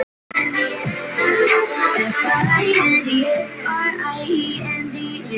Svona átti þetta að vera.